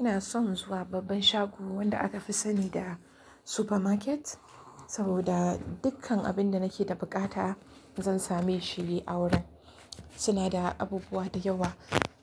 Ina son zuwa babban shago wanda aka fi sani da supermarket, saboda dukkan abin da nake da buƙata zan same shi a wurin. Suna da abubuwa da yawa.